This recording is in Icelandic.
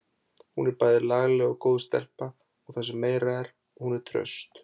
Hún er bæði lagleg og góð stelpa og það sem meira er: Hún er traust.